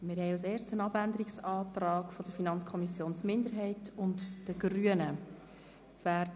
Als Erstes stimmen wir über den Abänderungsantrag der FiKoMinderheit und der Grünen ab.